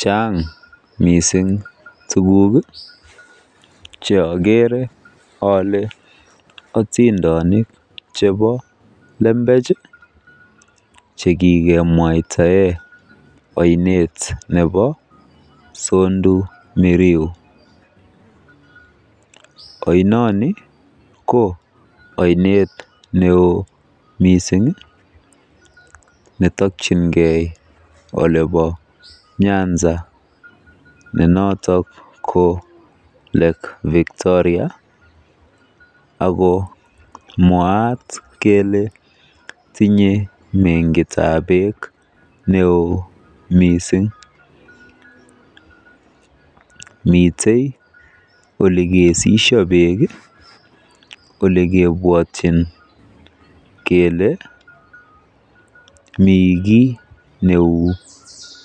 Chaang mising tuguk cheokere ole otindonik chebo lembech chekikemwaitae oinet nebo sondu miriu. Oinoni ko oinet neo mising netokyingei olebo Nyanza ne notok ko Lake Victoria. Mwaat kele tinye Mengitabekk neoo mising ako mitei olikisishi beek olekebwotyin kele mi kiy neu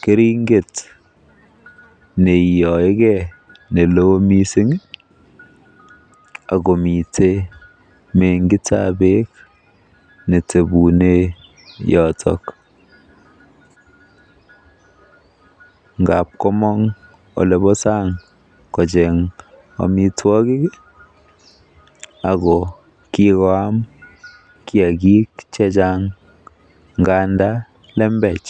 keringet neiyoikei nelo mising akomite mengitabeek netebune yotok. Ngaap komong olebo saang kocheeng amitwogik ako kikoam kiagik chechang nganda lembech.